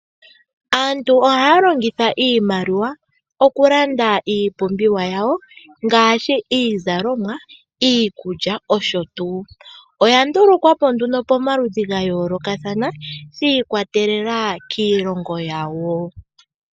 Aantu ohay longitha iimaliwa oku landa iipumbiwa yawo ngaashi iizalomwa, iikulya nosho tuu. Oya ndulukwapo pomaludhi ga yoolokathana shikwatelela kiilongo yawo.